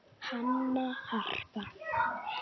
Hanna, Harpa